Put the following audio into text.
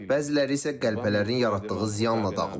Bəziləri isə qəlpələrin yaratdığı ziyanla dağılıb.